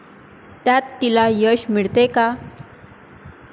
त्यात तिला यश मिळते का?